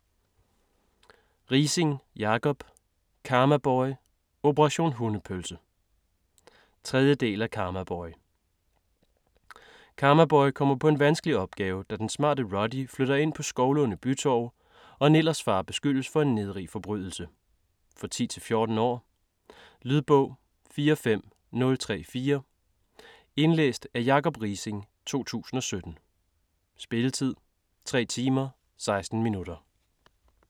Riising, Jacob: Karmaboy - operation hundepølse 3. del af Karmaboy. Karmaboy kommer på en vanskelig opgave, da den smarte Ruddy flytter ind på Skovlunde Bytorv og Nillers far beskyldes for en nedrig forbrydelse. For 10-14 år. Lydbog 45034 Indlæst af Jacob Riising, 2017. Spilletid: 3 timer, 16 minutter.